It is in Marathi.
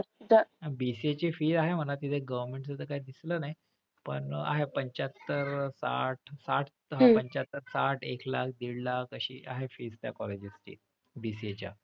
तर त्या BCA ची fee आहे म्हणा. तिथे government दिसलं नाही. पण आहे पंच्याहत्तर, साठ साठ पंच्याहत्तर, साठ, एक लाख, दीड लाख तशी आहे fees त्या colleges ची BCA च्या.